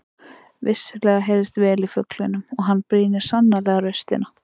Vissulega heyrist vel í fuglinum og hann brýnir sannarlega raustina.